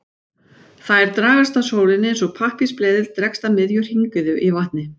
Þær dragast að sólinni eins og pappírsbleðill dregst að miðju hringiðu í vatni.